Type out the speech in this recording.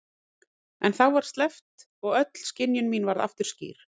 En þá var sleppt og öll skynjun mín varð aftur skýr.